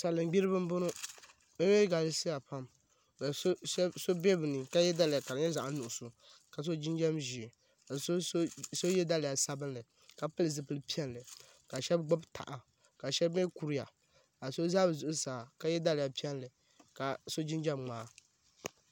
Salin gbiribi n boŋo bi mii galisiya pam ka so bɛ bi ni ka yɛ daliya ka di nyɛ zaɣ nuɣso ka so jinjɛm ʒiɛ ka so yɛ daliya sabinli ka pili zipili piɛlli ka shab gbubi taha ka shab mii kuriya ka so ʒɛ bi zuɣusaa ka yɛ daliya piɛlli ka so jinjɛm ŋmaa